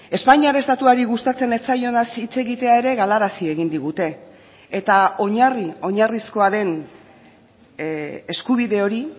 espainiar estatuari gustatzen ez zaionaz hitz egitea ere galarazi egin digute eta oinarri oinarrizkoa den eskubide hori